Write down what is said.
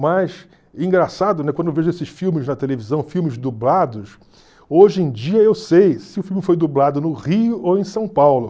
Mas, engraçado, né, quando eu vejo esses filmes na televisão, filmes dublados, hoje em dia eu sei se o filme foi dublado no Rio ou em São Paulo.